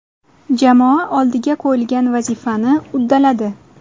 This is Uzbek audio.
Jamoa oldiga qo‘yilgan vazifani uddaladi.